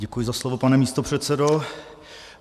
Děkuji za slovo, pane místopředsedo.